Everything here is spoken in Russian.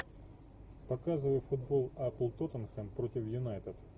показывай футбол апл тоттенхэм против юнайтед